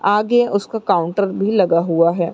आगे उसका काउंटर भी लगा हुआ है।